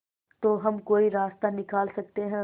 तो हम कोई रास्ता निकाल सकते है